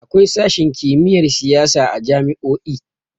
Akwai sashin kimiyyar siyasa a jami'o'i.